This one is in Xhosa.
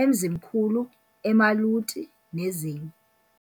eMzimkhulu, eMaluti, nezinye.